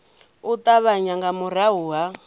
u ṱavhanya nga murahu ha